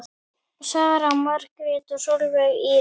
Sara Margrét og Sólveig Íris.